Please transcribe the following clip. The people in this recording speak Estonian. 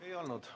Ei olnud.